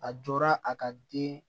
A jɔra a ka den